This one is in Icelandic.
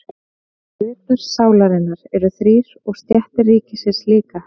Hlutar sálarinnar eru þrír og stéttir ríkisins líka.